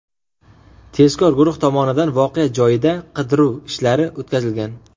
Tezkor guruh tomonidan voqea joyida qidiruv ishlari o‘tkazilgan.